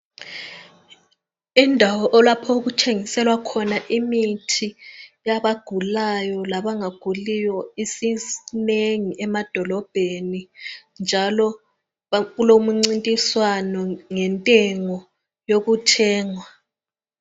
Indawo lapho okuthengiselwa khona imithi yabagulayo labangaguliyo minengi emadolobheni njalo kulomncintiswano ngentengo yokuthenga.